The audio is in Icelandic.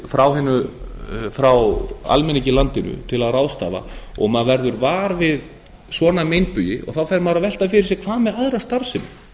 frá almenningi í landinu til að ráðstafa og maður verður var við svona meinbugi þá fer maður að velta fyrir sér hvað með aðra starfsemi